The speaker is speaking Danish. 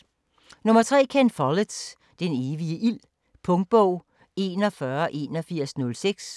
3. Follett, Ken: Den evige ild Punktbog 418106